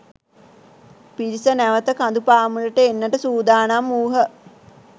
පිරිස නැවත කඳු පාමුලට එන්නට සූදානම් වූහ.